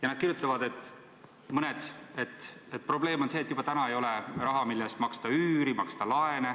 Mõned kirjutavad, et nende probleem on see, et juba täna ei ole raha, mille eest maksta üüri, maksta laene.